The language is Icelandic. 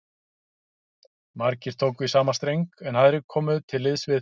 Margir tóku í sama streng, en aðrir komu til liðs við